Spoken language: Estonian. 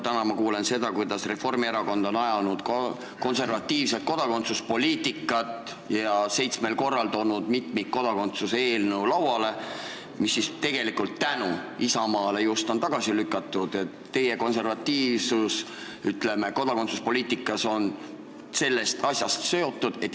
Täna ma kuulen seda, kuidas Reformierakond on ajanud konservatiivset kodakondsuspoliitikat ja seitsmel korral toonud lauale mitmikkodakondsuse eelnõu, mis Isamaa vastuseisu tõttu on ikka tagasi lükatud.